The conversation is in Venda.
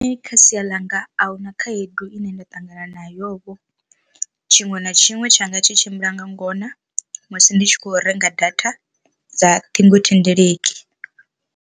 Kha sia ḽa nga a huna khaedu ine nda ṱangana nayo vho tshiṅwe na tshiṅwe tshanga tshi tshimbila nga ngona musi ndi tshi khou renga data dza ṱhingothendeleki.